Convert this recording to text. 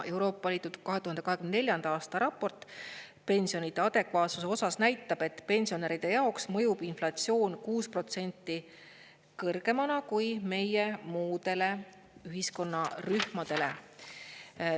Euroopa Liidu 2024. aasta raport pensionide adekvaatsuse osas näitab, et pensionäride jaoks mõjub inflatsioon 6% kõrgemana kui meie muudele ühiskonnarühmadele.